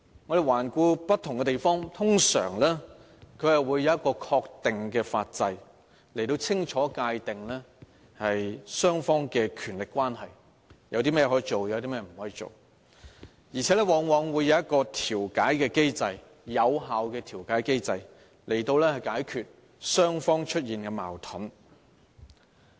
我們環顧不同地方，自治制度，通常會有一個確定的法制，清楚界定雙方的權力關係，列明甚麼可以做、甚麼不可做，而且往往設有有效的調解機制，以解決雙方出現的矛盾。